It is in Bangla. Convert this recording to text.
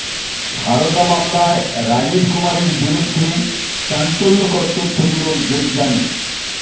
সারদা মামলায় রাজীব কুমারের বিরুদ্ধে চাঞ্চল্যকর তথ্য দিলেন দেবযানী